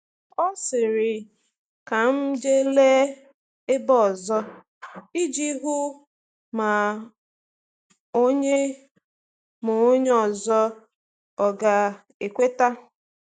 O sịrị, “Ka m jee lee ebe ọzọ,” iji hụ ma onye ma onye ọzọ ọga ekweta.